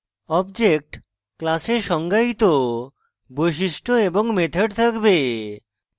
object class এ সংজ্ঞায়িত বৈশিষ্ট্য এবং methods থাকবে